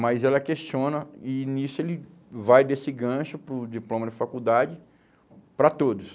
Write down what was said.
Mas ela questiona e nisso ele vai desse gancho para o diploma de faculdade para todos.